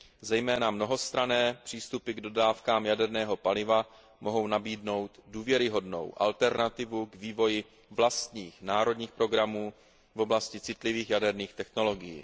Zejména mnohostranné přístupy k dodávkám jaderného paliva mohou nabídnout důvěryhodnou alternativu k vývoji vlastních národních programů v oblasti citlivých jaderných technologií.